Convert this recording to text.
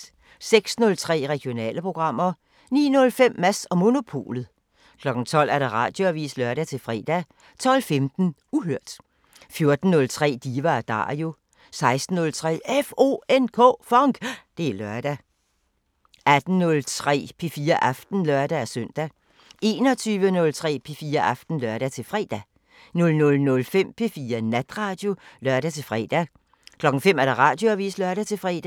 06:03: Regionale programmer 09:05: Mads & Monopolet 12:00: Radioavisen (lør-fre) 12:15: Uhørt 14:03: Diva & Dario 16:03: FONK! Det er lørdag 18:03: P4 Aften (lør-søn) 21:03: P4 Aften (lør-fre) 00:05: P4 Natradio (lør-fre) 05:00: Radioavisen (lør-fre)